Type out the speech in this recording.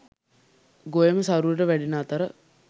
ගොයම සරුවට වැඩෙන අතර